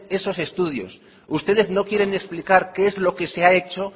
esos estudios ustedes no quieren explicar qué es lo que se ha hecho